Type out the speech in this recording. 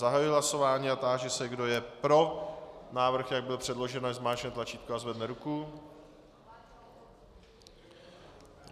Zahajuji hlasování a táži se, kdo je pro návrh, jak byl předložen, ať zmáčkne tlačítko a zvedne ruku.